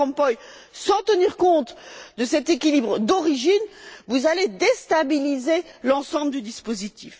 Van Rompuy, sans tenir compte de cet équilibre d'origine, vous déstabiliserez l'ensemble du dispositif.